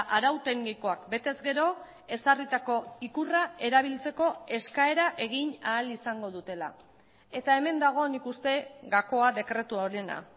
arau teknikoak betez gero ezarritako ikurra erabiltzeko eskaera egin ahal izango dutela eta hemen dago nik uste gakoa dekretu honena